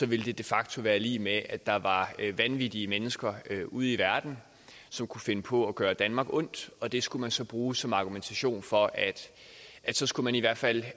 ville det de facto være lig med at der var vanvittige mennesker ud i verden som kunne finde på at gøre danmark ondt og det skulle man så bruge som argumentation for at så skulle man i hvert fald